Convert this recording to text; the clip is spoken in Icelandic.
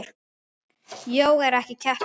Jóga er ekki keppni.